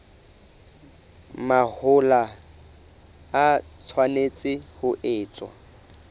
mahola e tshwanetse ho etswa